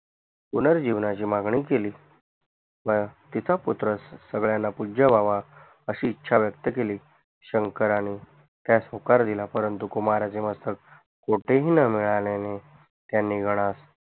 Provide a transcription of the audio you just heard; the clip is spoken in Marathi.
पुनर्जीवणाची मागणी केली तिचा पुत्र सगळ्यांना पूज्य व्हावा अशी ईछा व्यक्त केली शंकराने त्यास होकार दिला परंतु कुमाराचे मस्तक कोटेही न मिळाल्याने त्याने गनात